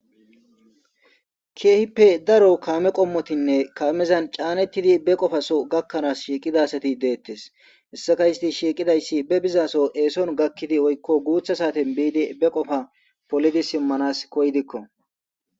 Kehippe darro kamme qommotinne kamezan cannettidi darro qoffasso gakkana gizza asatti dettees hessazan bebizzasso essuan gakkana guutha satten gakkidi beqqofa follidi simannas giddikko.